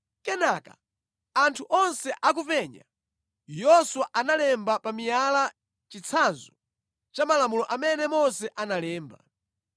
Kenaka anthu onse akupenya, Yoswa analemba pa miyala chitsanzo cha malamulo amene Mose analemba.